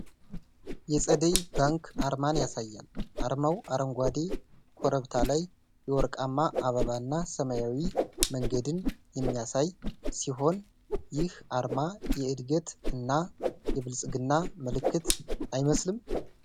የፀደይ ባንክ አርማን ያሳያል። አርማው አረንጓዴ ኮረብታ ላይ የወርቃማ አበባ እና ሰማያዊ መንገድን የሚያሳይ ሲሆን፣ ይህ አርማ የዕድገት እና የብልጽግና ምልክት አይመስልም?